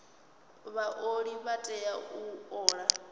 vhaoli vha tea u ola